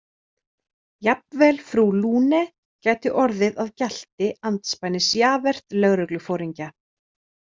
Jafnvel frú Lune gæti orðið að gjalti andspænis Javert lögregluforingja.